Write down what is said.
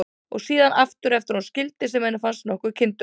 Og síðan aftur eftir að hún skildi, sem henni fannst nokkuð kyndugt.